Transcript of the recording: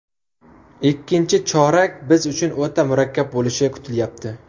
Ikkinchi chorak biz uchun o‘ta murakkab bo‘lishi kutilyapti.